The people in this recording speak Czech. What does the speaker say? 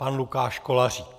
Pan Lukáš Kolářík.